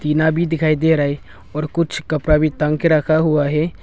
टीना भी दिखाई दे रहा है और कुछ कपड़ा भी टांग के रखा हुआ है।